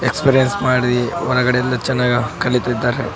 Experience ಮಾಡಿ ಒಳಗಡೆಯಿಂದ ಚೆನ್ನಗ್ ಕಲಿತದ್ದಾರ.